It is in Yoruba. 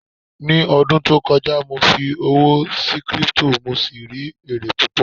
ní ọdún tí o kọjá, mo fi owó sí crypto, mo sì rí ere púpò